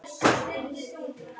Kæri félagi.